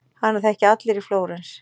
Hana þekkja allir í Flórens.